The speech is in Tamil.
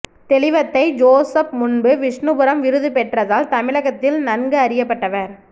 தெளிவத்தை ஜோசப் முன்பு விஷ்ணுபுரம் விருது பெற்றதால் தமிழகத்தில் நன்கு அறியப்பட்டவர்